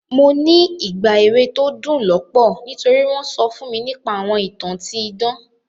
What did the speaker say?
Mo ní ìgbà èwe to dún lọ́pọ̀ nítori won so fún mi nipa àwọn ìtàn ti idan.